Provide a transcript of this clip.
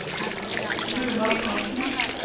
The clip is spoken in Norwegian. Runar Frantzen